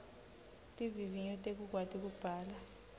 tivivinyo tekukwati kubhala